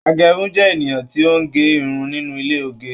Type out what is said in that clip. Agérun jẹ ènìyàn ti o n gé irun nínú ilé oge